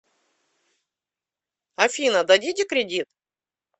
афина дадите кредит